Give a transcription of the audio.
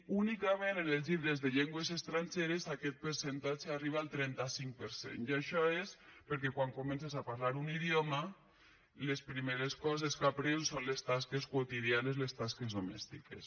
únicament en els llibres de llengües estrangeres aquest percentatge arriba al trenta cinc per cent i això és perquè quan comences a parlar un idioma les primeres coses que aprens són les tasques quotidianes les tasques domèstiques